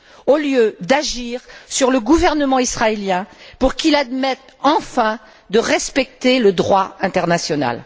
au lieu d'agir sur le gouvernement israélien pour qu'il accepte enfin de respecter le droit international.